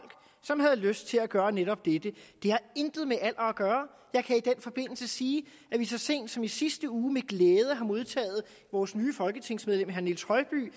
som havde lyst til at gøre netop dette det har intet med alder at gøre jeg kan i den forbindelse sige at vi så sent som i sidste uge med glæde har modtaget vores nye folketingsmedlem herre niels